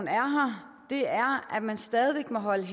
her er at man stadig væk må holde en